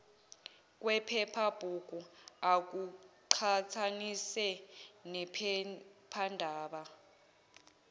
kwephephabhuku akuqhathanise nephephandaba